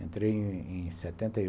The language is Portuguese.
Entrei em em setenta e oit